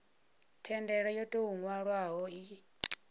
thendelo yo tou nwalwaho i